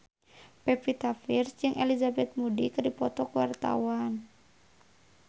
Pevita Pearce jeung Elizabeth Moody keur dipoto ku wartawan